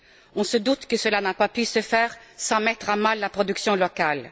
On se doute que cela n'a pas pu se faire sans mettre à mal la production locale.